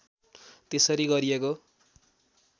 त्यसरी गरिएको